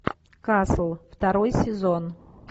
касл второй сезон